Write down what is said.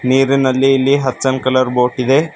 ನೀರಿನಲ್ಲಿ ಇಲ್ಲಿ ಹಚ್ಚಲ್ ಕಲರ್ ಬೋಟ್ ಇದೆ.